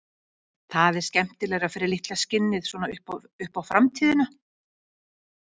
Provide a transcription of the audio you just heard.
Það er skemmtilegra fyrir litla skinnið, svona upp á framtíðina.